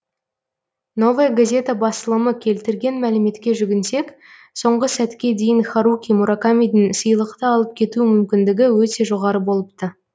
новая газета басылымы келтірген мәліметке жүгінсек соңғы сәтке дейін харуки муракамидің сыйлықты алып кету мүмкіндігі өте жоғары болыпты